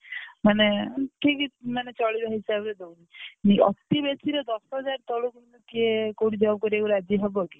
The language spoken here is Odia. ମାନେ ଠିକ ମାନେ ଚଳିବା ହିସାବରେଦଉଛି ଅତି ବେଶୀରେ ଦଶହଜାରେ ତଳକୁ କିଏ କୋଉଠି job କରିବା ପାଇଁ ରାଜି ହବକି?